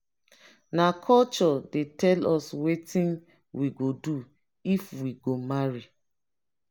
na culture dey tell us wetin we go do if we go marry.